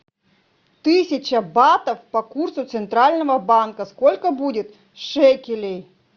тысяча батов по курсу центрального банка сколько будет шекелей